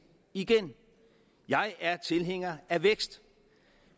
igen jeg er tilhænger af vækst